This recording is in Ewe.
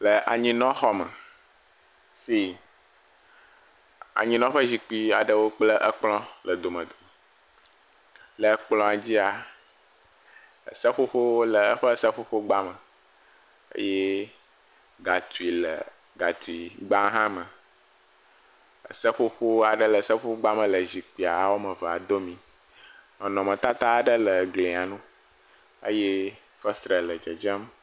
Le anyinɔxɔme, anyinɔzikpui aɖewo le xɔ me si anyinɔƒe zikpui aɖewo kple kplɔ le dome, le kplɔ dzia seƒoƒowo le eƒe seƒoƒo gba me, eye ga tui le gatui gbame. Seƒoƒo aɖe le seƒoƒogba aɖe me le zikpui eve aɖewo dome, nɔnɔmetata le gli ŋu.